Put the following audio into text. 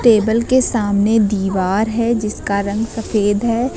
Table के सामने दीवार है जिसका रंग सफेद है।